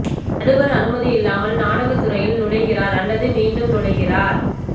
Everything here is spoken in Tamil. நடுவர் அனுமதி இல்லாமல் நாடகத் துறையில் நுழைகிறார் அல்லது மீண்டும் நுழைகிறார்